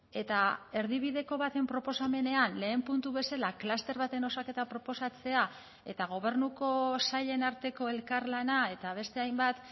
eta erdibideko baten proposamenean lehen puntu bezala kluster baten osaketa proposatzea eta gobernuko sailen arteko elkarlana eta beste hainbat